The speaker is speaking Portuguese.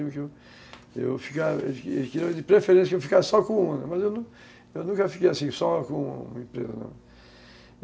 Eles queriam que de preferência que eu ficasse só com uma, mas eu nunca fiquei assim, só com uma empresa não.